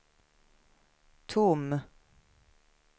tom